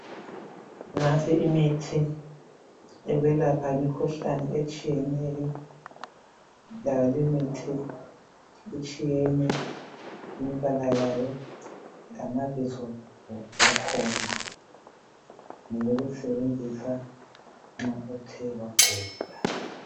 Nansi imithi yokwelapha imikhuhlane etshiyeneyo. Layo limithi itshiyene imibala yayo lamabizo wakhona. Ngeyokusebenzisa nxa uthe wagula .